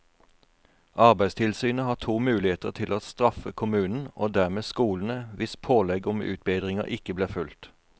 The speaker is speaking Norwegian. Arbeidstilsynet har to muligheter til å straffe kommunen og dermed skolene hvis pålegg om utbedringer ikke blir fulgt.